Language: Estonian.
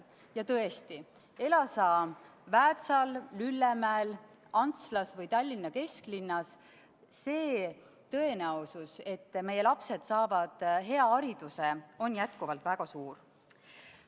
Ja tõesti – ela sa Väätsal, Lüllemäel, Antslas või Tallinna kesklinnas –, tõenäosus, et meie lapsed saavad hea hariduse, on jätkuvalt väga suur.